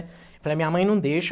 Eu falei, a minha mãe não deixa.